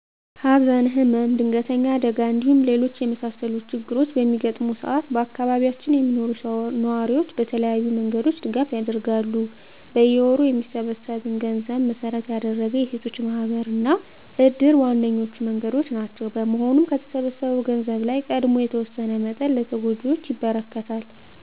ሀዘን፣ ህመም፣ ድንገተኛ አደጋ እንዲሁም ሌሎች የመሳሰሉት ችግሮች በሚገጥመው ሰአት በአካባቢያችን የሚኖሩ ነዋሪዎች በተለያዩ መንገዶች ድጋፍ ያደርጋሉ። በየወሩ በሚሰበሰብን ገንዘብ መሰረት ያደረገ የሴቶች ማህበር እና እድር ዋነኞቹ መንገዶች ናቸው። በመሆኑም ከተሰበሰበው ገንዘብ ላይ ቀድሞ የተወሰነ መጠን ለተጎጂዎች ይበረክታል።